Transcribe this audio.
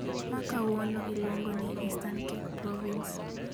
ma kawuono iluongo ni Eastern Cape province.